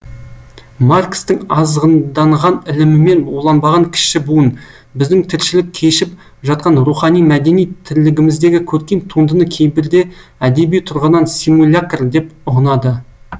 маркстің азғынданған ілімімен уланбаған кіші буын біздің тіршілік кешіп жатқан рухани мәдени тірлігіміздегі көркем туындыны кейбірде әдеби тұрғыдан симулякр деп ұғынады